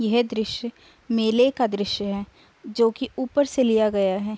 यह दृश्य मेले का दृश्य है जो कि ऊपर से लिया गया है।